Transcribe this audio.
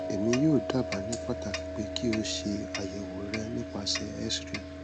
emi yoo daba ni pataki pe ki o se ayewo re nipasẹ xray